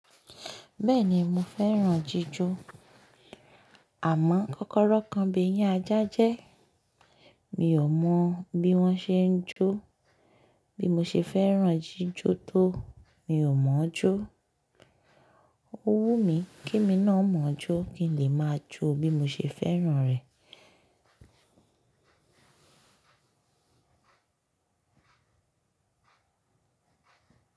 Bẹ́ẹ̀ni mo fẹ́ràn jíjó. Àmọ́ kọ́kọ́rọ́ kan b'eyin ajá jẹ́. Mi ò mọ̀ bí wọ́n ṣe ń jó. Bí mo ṣe fẹ́ràn jíjó tó, mi ò mọ̀ ọ́ jó. Ó wù mí k'emi náà mọ̀ ọ́ jó kí n lè máa jó bí mo ṣe fẹ́ràn rẹ̀.